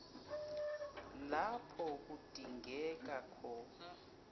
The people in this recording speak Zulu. lapho kudingeka khona